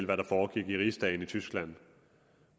hvad der foregik i rigsdagen i tyskland